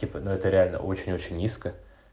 типо но это реально очень очень низко